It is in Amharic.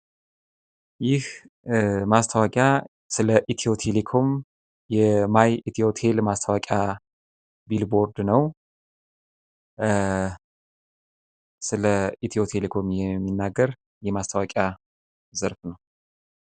ይህ ማስታወቂያ ስለኢትዮ ቴሌኮም ማስታወቂያ የማይ ኢትዮቴል ማስታወቂያ የሚል ቦርድ ነው። ስለ ኢትዮ ቴሌኮም የሚናገር የማስታወቂያ በር ነው።